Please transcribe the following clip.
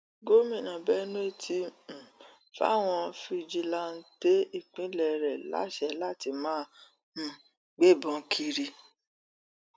gomina benue ti um fàwọn fijilantàntẹ ìpínlẹ rẹ láṣẹ láti máa um gbébọn kiri